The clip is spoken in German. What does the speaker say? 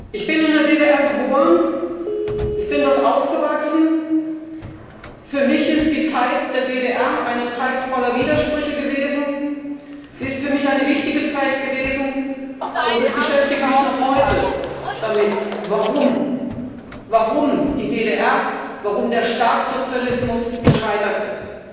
Ich bin in der DDR geboren und aufgewachsen. Für mich ist die Zeit der DDR eine Zeit voller Widersprüche gewesen. Sie ist für mich eine wichtige Zeit gewesen, und ich beschäftige mich noch heute damit, warum die DDR, warum der Staatssozialismus gescheitert ist.